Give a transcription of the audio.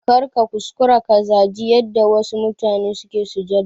Karka kuskura ka zaji yanda wasu mutane suke sujada